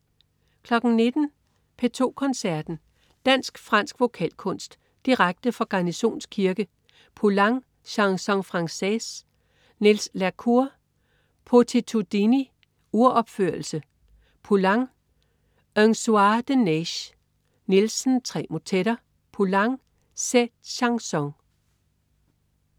19.00 P2 Koncerten. Dansk-fransk vokalkunst. Direkte fra Garnisons kirke. Poulenc: Chansons francaises. Niels la Cour: Beatitudini, uropførelse. Poulenc: Un soir de neige. Nielsen: Tre motetter. Poulenc: Sept chansons